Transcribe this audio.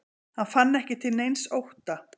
Hann fann ekki til neins ótta.